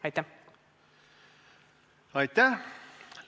Aitäh!